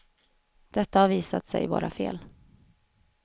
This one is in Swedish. Detta har visat sig vara fel.